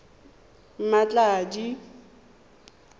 mmatladi